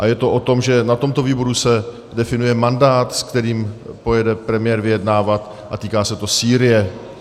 A je to o tom, že na tomto výboru se definuje mandát, s kterým pojede premiér vyjednávat, a týká se to Sýrie.